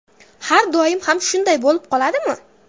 Har doim ham shunday bo‘lib qoladimi?